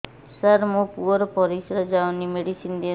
ସାର ମୋର ପୁଅର ପରିସ୍ରା ଯାଉନି ମେଡିସିନ ଦିଅନ୍ତୁ